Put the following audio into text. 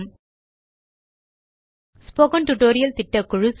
spoken tutorial திட்டக்குழு